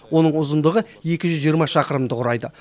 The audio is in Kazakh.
оның ұзындығы екі жүз жиырма шақырымды құрайды